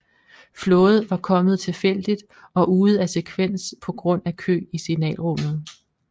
Flåde var kommet tilfældigt og ude af sekvens på grund af kø i signalrummet